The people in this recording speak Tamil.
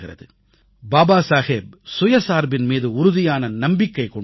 பாபா சாஹேப் சுயசார்பின் மீது உறுதியான நம்பிக்கை கொண்டிருந்தார்